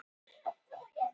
Línberg